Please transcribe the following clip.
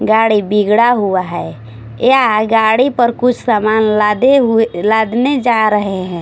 गाड़ी बिगड़ा हुआ है या गाड़ी पर कुछ सामान लादे हुए लादने जा रहे है।